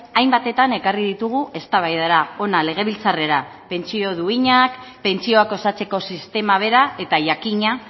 hainbatetan ekarri ditugu eztabaidara hona legebiltzarrera pentsio duinak pentsioak osatzeko sistema bera eta jakina